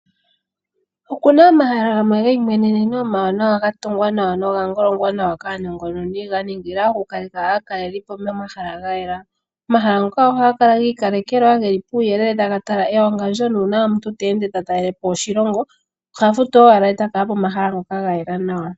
Okuna omahala gamwe geimweneneno , omawanawa ga tungwa nawa noga ngolongwa nawa kaanongononi, ga ningila okukaleka aakalelipo momahala ga yela. Omahala ngoka ohaga kala giikalekelwa geli puuyelele taga tala ewangandjo, nuuna omuntu te ende ta talelepo oshilongo, oha futu owala eta kala pomahala ngoka gayela nawa.